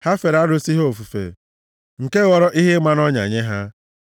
Ha fere arụsị ha ofufe, nke ghọrọ ihe ịma nʼọnya nye ha.